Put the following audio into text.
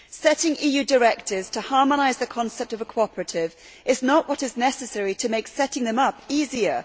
Setting EU directives to harmonise the concept of a cooperative is not what is necessary to make setting them up easier.